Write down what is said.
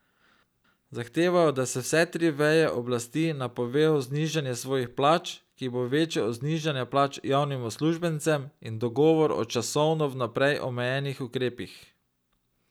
Zahtevajo, da vse tri veje oblasti napovejo znižanje svojih plač, ki bo večje od znižanja plač javnim uslužbencem, in dogovor o časovno vnaprej omejenih ukrepih.